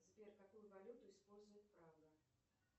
сбер какую валюту использует прага